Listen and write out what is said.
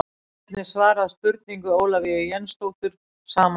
Hér er einnig svarað spurningu Ólafíu Jensdóttur sama efnis.